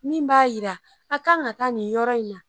Min b'a jira a kan ka taa nin yɔrɔ in na